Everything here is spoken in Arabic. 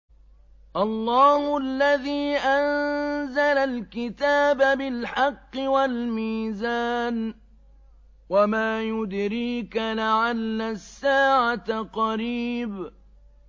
اللَّهُ الَّذِي أَنزَلَ الْكِتَابَ بِالْحَقِّ وَالْمِيزَانَ ۗ وَمَا يُدْرِيكَ لَعَلَّ السَّاعَةَ قَرِيبٌ